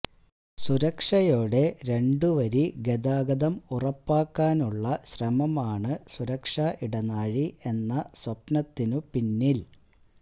സുരക്ഷയോടെ രണ്ടുവരി ഗതാഗതം ഉറപ്പാക്കാനുള്ള ശ്രമമാണ് സുരക്ഷാ ഇടനാഴി എന്ന സ്വപ്നത്തിനുപിന്നിൽ